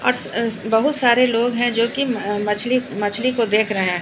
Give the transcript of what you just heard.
और सअ बहुत सारे लोग हैं जो कि मछली मछली को देख रहे हैं।